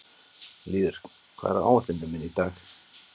Lýður, hvað er á áætluninni minni í dag?